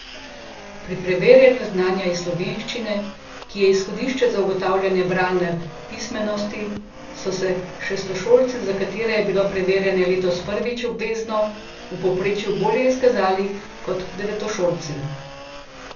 Pri preverjanju znanja iz slovenščine, ki je izhodišče za ugotavljanje bralne pismenosti, so se šestošolci, za katere je bilo preverjanje letos prvič obvezno, v povprečju bolje izkazali kot devetošolci.